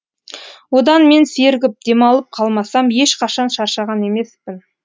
одан мен сергіп демалып қалмасам ешқашан шаршаған емеспін